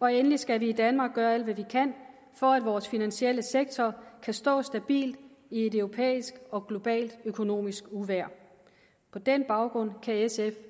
og endelig skal vi danmark gøre alt hvad vi kan for at vores finansielle sektor kan stå stabilt i et europæisk og globalt økonomisk uvejr på den baggrund kan sf